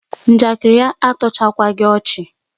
Njakịrị ya atọchaghikwa ọchị